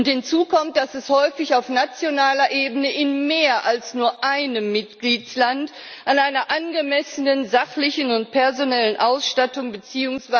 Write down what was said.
Hinzu kommt, dass es häufig auf nationaler Ebene in mehr als nur einem Mitgliedstaat an einer angemessenen sachlichen und personellen Ausstattung bzw.